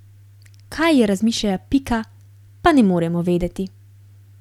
Kaj je razmišljala Pika, pa ne moremo vedeti.